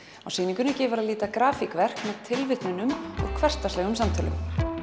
á sýningunni gefur að líta grafíkverk með tilvitnunum úr hversdagslegum samtölum